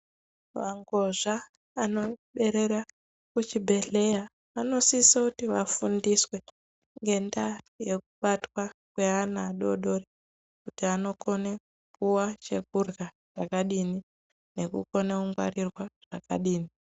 Mangozva anoberera kuchibhedhleya vanosisoti vafundiswe ngendaa yekubwatwa kweana adodori kuti anokone kupuwa chekurya chakadini nekukone kungwarirwa zvakadini.